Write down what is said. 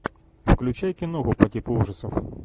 включай киноху по типу ужасов